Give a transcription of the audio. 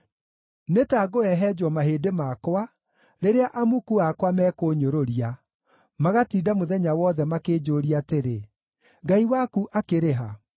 Nĩ ta ngũhehenjwo mahĩndĩ makwa, rĩrĩa amuku akwa mekũnyũrũria, magatinda mũthenya wothe makĩnjũũria atĩrĩ, “Ngai waku akĩrĩ ha?”